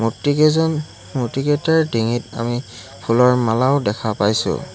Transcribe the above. মূৰ্তিকেইজন মূৰ্তিকেইটাৰ ডিঙিত আমি ফুলৰ মালাও দেখা পাইছোঁ।